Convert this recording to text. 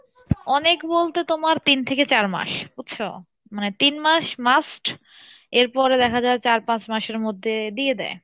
অনেক বলতে তোমার তিন থেকে চার মাস বুঝছো? মানে তিন মাস must এরপরে দেখা যাই চার পাঁচ মাসের মধ্যে দিয়ে দেই।